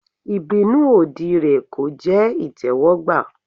Ìbínú òdì rẹ̀ kò jẹ́ ìtẹ́wọ́gbà.